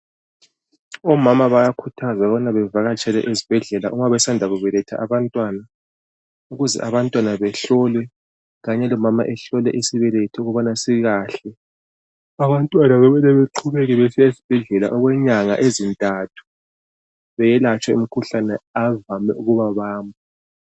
Omama bayakhuthazwa ukubana bavakatshele ezibhedlela uma besanda kubeletha abantwana ukuze abantwana behlolwe kanye lomama ehlolwe isibeletho ukubana sikahle abantwana kumele beqhubeka besiya esibhedlela okwenyanga ezintathu beyelatshwe imikhuhlane evame ukuba bamba.